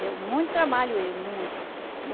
Deu muito trabalho ele, muito.